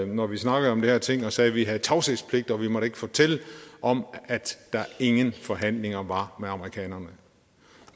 når vi snakkede om de her ting og sagde at vi havde tavshedspligt og at vi ikke måtte fortælle om at der ingen forhandlinger var med amerikanerne